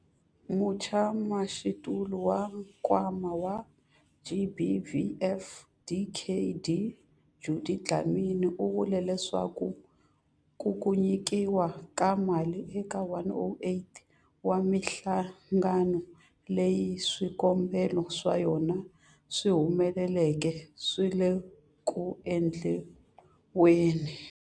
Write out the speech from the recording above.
Mutshamaxitulu wa Nkwama wa GBVF, Dkd Judy Dlamini, u vule leswaku ku nyikiwa ka mali eka 108 wa mihlangano leyi swikombelo swa yona swi humeleleke swi le ku endliweni.